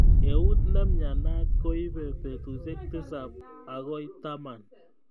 Eut neimnyanat koibei betushe tisab akoi taman.